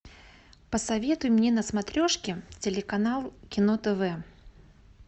посоветуй мне на смотрешке телеканал кино тв